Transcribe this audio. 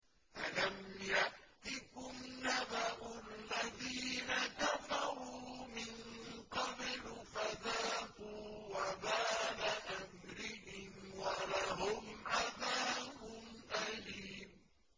أَلَمْ يَأْتِكُمْ نَبَأُ الَّذِينَ كَفَرُوا مِن قَبْلُ فَذَاقُوا وَبَالَ أَمْرِهِمْ وَلَهُمْ عَذَابٌ أَلِيمٌ